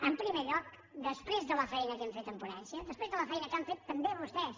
en primer lloc després de la feina que hem fet en ponència després de la feina que han fet també vostès